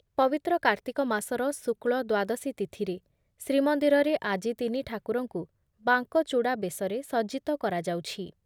ପବିତ୍ର କାର୍ତ୍ତିକ ମାସର ଶୁକ୍ଳ ଦ୍ଵାଦଶୀ ତିଥିରେ ଶ୍ରୀମନ୍ଦିରରେ ଆଜି ତିନି ଠାକୁରଙ୍କୁ ବାଙ୍କଚୂଡା ବେଶରେ ସଜ୍ଜିତ କରାଯାଉଛି ।